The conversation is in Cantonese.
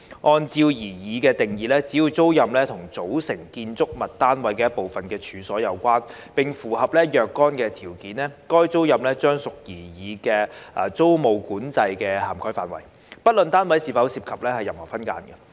按照擬議的定義，只要租賃與"組成建築物單位一部分的處所"有關，並符合若干條件，該租賃將屬擬議租務管制的涵蓋範圍，不論單位是否涉及任何分間。